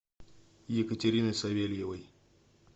екатерины савельевой